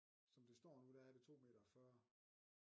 Som det står nu der er det 2 meter og 40